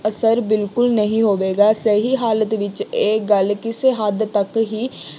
ਅਸਰ ਬਿਲਕੁੱਲ ਨਹੀਂ ਹੋਵੇਗਾ। ਸਹੀ ਹਾਲਤ ਵਿੱਚ ਇਹ ਗੱਲ ਕਿਸੇ ਹੱਦ ਤੱਕ ਹੀ